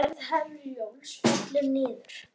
Ferð Herjólfs fellur niður